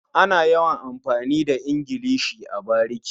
Ana yawan amfani da ingilishi a bariki.